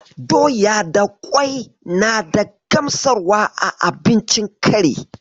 Doya da ƙwai na da gamsarwa a abincin kari.